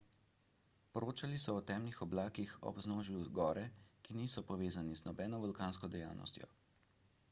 poročali so o temnih oblakih ob vznožju gore ki niso povezani z nobeno vulkansko dejavnostjo